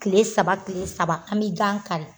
Tile saba tile saba an bɛ gan kari